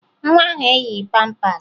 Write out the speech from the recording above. Nwa ahụ eyighi pampaasị